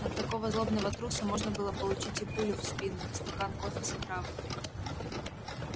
от такого злобного труса можно было получить и пулю в спину и стакан кофе с отравой